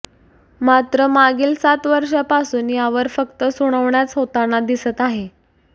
मात्र मागील सात वर्षापासून यावर फक्त सुनावण्याच होताना दिसत आहे